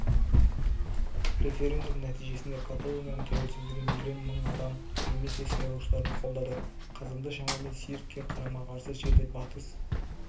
референдум нәтижесінде каталонияның тәуелсіздігін миллион мың адам немесе сайлаушылардың қолдады қазанда шамамен циркке қарама-қарсы жерде батыс